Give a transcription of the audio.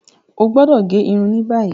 O gbọdọ ge irun ni bayi.